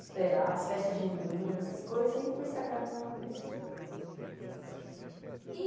Esperar, as festas juninas, essas coisas sempre foram sagradas no Nordeste.